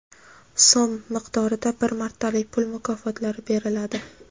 so‘m) miqdorida bir martalik pul mukofotlari beriladi.